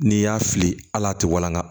N'i y'a fili al'a tɛ walanga